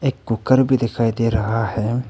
एक कुकर भी दिखाई दे रहा है।